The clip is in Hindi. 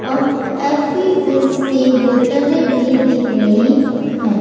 और एपी फिज की बोतले भी दिख रही हैं।